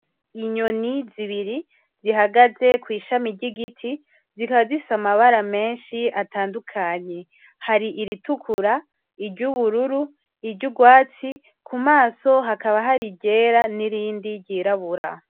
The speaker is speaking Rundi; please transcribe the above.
Inyoni zibiri zihagaze kwishami ryigiti zikaba zifise amabara menshi atandukanye hari iritukura ,iryubururu, iryurwatsi kumaso hakaba hari iryera nirindi ryirabura.